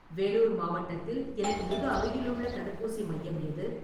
வேலூர் மாவட்டத்தில் எனக்கு மிக அருகிலுள்ள தடுப்பூசி மையம் எது?